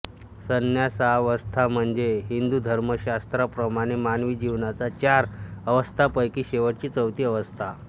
संन्यासावस्था म्हणजे हिंदुधर्मशास्त्राप्रमाणे मानवी जीवनाच्या चार अवस्थांपैकी शेवटची चौथी अवस्था